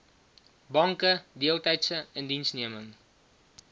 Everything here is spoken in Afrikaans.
banke deeltydse indiensneming